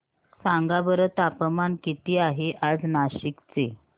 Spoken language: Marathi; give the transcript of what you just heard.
सांगा बरं तापमान किती आहे आज नाशिक चे